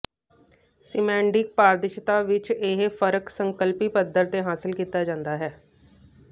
ਸਿਮੈਂਡੀਕ ਪਾਰਦਰਸ਼ਿਤਾ ਵਿਚ ਇਹ ਫਰਕ ਸੰਕਲਪੀ ਪੱਧਰ ਤੇ ਹਾਸਲ ਕੀਤਾ ਜਾਂਦਾ ਹੈ